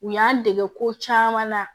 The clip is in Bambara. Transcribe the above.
U y'an dege ko caman na